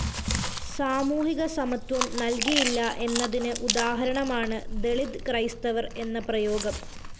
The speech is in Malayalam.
സാമൂഹികസമത്വം നല്‍കിയില്ല എന്നതിന് ഉദാഹരണമാണ് ദളിത് ക്രൈസ്തവര്‍ എന്ന പ്രയോഗം